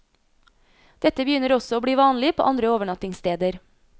Dette begynner også å bli vanlig på andre overnattingssteder.